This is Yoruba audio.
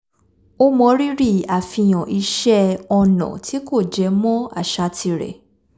ó mọrírì àfihàn iṣẹ́ ọnà tí kò jẹ mọ́ àṣà tirẹ̀